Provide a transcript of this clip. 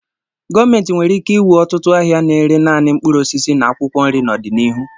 Gọọmentị nwere ike ịwụ ọtụtụ ahịa na-ere naanị mkpụrụ osisi na akwụkwọ nri n'ọdịnihu.